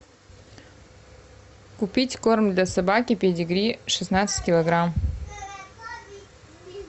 купить корм для собаки педигри шестнадцать килограмм